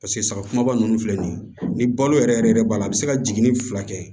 Paseke sagakuraba ninnu filɛ nin ye ni balo yɛrɛ yɛrɛ yɛrɛ b'a la a bɛ se ka jiginni fila kɛ